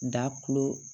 Da kulo